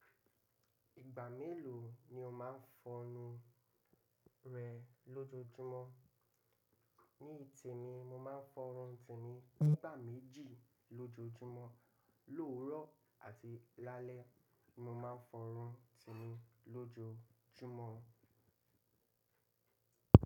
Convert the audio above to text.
Ìgbà mélòó ni o máa ń fọ enu rẹ lójoójúmọ́? Ní ìtìmi, mo máa ń fọ́ irun tìmi nígbà méjì lójoojúmọ́. Lóòrọ̀ àti lálẹ́ ni mo máa ń fọ́ irun tìmi lójoojúmọ́.